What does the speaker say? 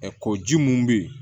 kɔji mun bɛ yen